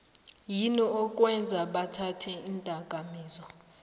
yini okwenza bathathe indakamizwa